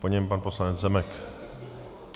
Po něm pan poslanec Zemek.